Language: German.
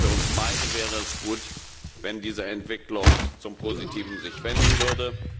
für uns beide wäre es gut, wenn sich diese Entwicklung zum Positiven wenden würde.